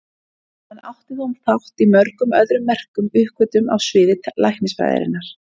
Hann átti þó þátt í mörgum öðrum merkum uppgötvunum á sviði læknisfræðinnar.